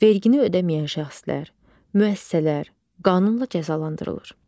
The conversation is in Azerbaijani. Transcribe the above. Vergini ödəməyən şəxslər, müəssisələr qanunla cəzalandırılır.